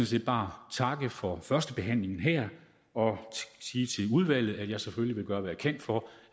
set bare her takke for førstebehandlingen og sige til udvalget at jeg selvfølgelig vil gøre hvad jeg kan for